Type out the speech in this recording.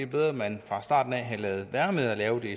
bedre at man fra starten havde ladet være med at lave